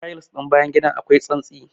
Tayils ɗin bayan gidan akwai tsantsi.